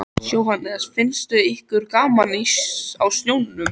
Jóhannes: Finnst ykkur gaman á sjónum?